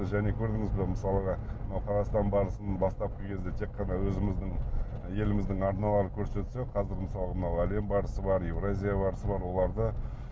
және көрдіңіз бе мысалға мынау қазақстан барысының бастапқы кезде тек қана өзіміздің еліміздің арналары көрсетсе қазір мысалы мынау әлем барысы бар еуразия барысы бар оларды